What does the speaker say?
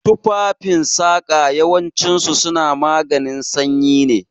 Tufafen saƙa yawancin su suna maganin sanyi ne